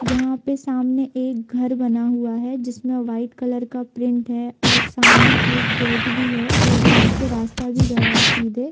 यहाँ पे सामने एक घर बना हुआ है जिस में वाईट कलर का प्रिन्ट है और सामने एक गेट भी है और वहाँ से रास्ता भी गाया है सीधे।